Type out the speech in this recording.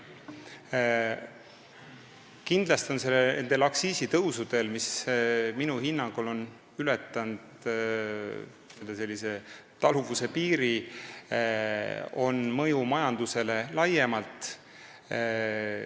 Kindlasti on nendel aktsiisitõusudel, mis minu hinnangul on ületanud taluvuse piiri, mõju majandusele laiemalt.